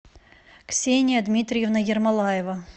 ксения дмитриевна ермолаева